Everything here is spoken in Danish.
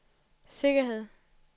sikkerhed